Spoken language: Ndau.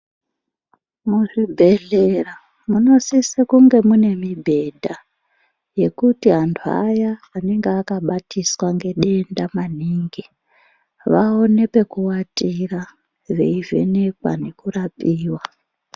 Muzvibhedhlera munosise kunge mune mubhedha yekuti antu aya anenge akabatiswa ngedenda maningi vaone pekuwatira veivhenekwa nekurapiwa.